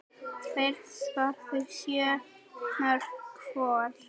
Þeir skoruðu sjö mörk hvor.